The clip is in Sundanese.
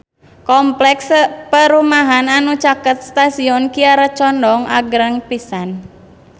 Kompleks perumahan anu caket Stasiun Kiara Condong agreng pisan